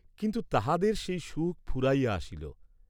কিন্তু তাহাদের সেই সুখ ফুরাইয়া আসিল।